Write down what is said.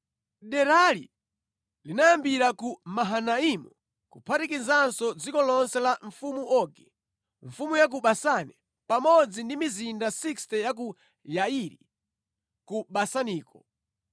Derali linayambira ku Mahanaimu kuphatikizapo dziko lonse la mfumu Ogi, Mfumu ya ku Basani, pamodzi ndi mizinda 60 ya ku Yairi, ku Basaniko.